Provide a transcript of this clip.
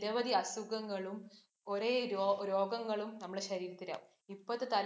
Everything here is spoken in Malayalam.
നിരവധി അസുഖങ്ങളും ഒരേ രോഗങ്ങളും നമ്മുടെ ശരീരത്തിലാകും. ഇപ്പോളത്തെ തലമുറെനെ